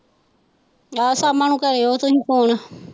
ਆਹ ਸ਼ਾਮਾਂ ਨੂੰ ਕਰਿਉ ਤੁਸੀਂ ਫੋਨ।